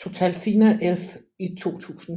TotalFinaElf i 2000